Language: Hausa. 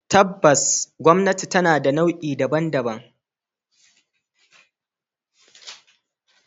Tabbas gwamnati tana da nau'i daban-daban.